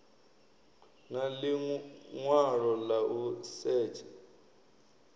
na ḽiṅwalo ḽa u setsha